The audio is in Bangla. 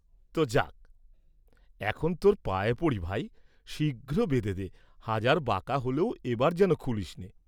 ত, যাক, এখন তোর পায়ে পড়ি ভাই, শীঘ্র বেঁধে দে, হাজার বাঁকা হলেও এবার যেন খুলিস নে।